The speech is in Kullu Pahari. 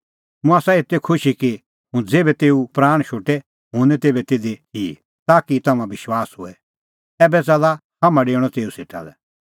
मुंह आसा एते खुशी कि हुंह ज़ेभै तेऊ प्राण शोटै हुंह निं तेभै तिधी थिई ताकि तम्हां विश्वास होए ऐबै च़ाल्ला हाम्हां डेऊणअ तेऊ सेटा लै